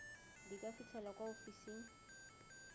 di ka fitlhelwa kwa ofising